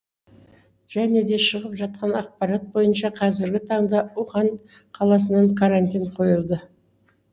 және де шығып жатқан ақпарат бойынша қазіргі таңда ухань қаласына карантин қойылды